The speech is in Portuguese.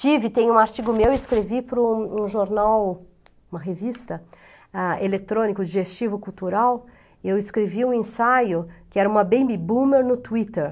Tive, tem um artigo meu, escrevi para um um jornal, uma revista, ah, eletrônico, digestivo, cultural, e eu escrevi um ensaio, que era uma baby boomer no Twitter.